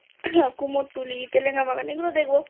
কুমোরটুলি তেলেনাবাগান এগুলো দেখবো